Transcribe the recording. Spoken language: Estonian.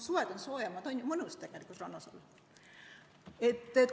Suved on soojemad, on mõnus tegelikult rannas olla.